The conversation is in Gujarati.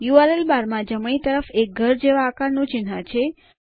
યુઆરએલ બારમાં જમણી તરફ એક ઘર જેવા આકારનું ચિહ્ન છે